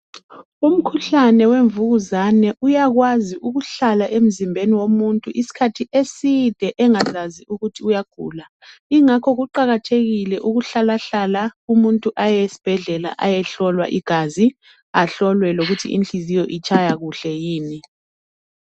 Umkhuhlane wemvukuzane uyakwazi ukuhlala emzimbeni womuntu isikhathi eside engazazi ukuthi uyagula. Ingakho kuqakathekile ukuhlalahlala umuntu ayehlolwa igazi lokuthi inhliziyo itshaya kuhle yini.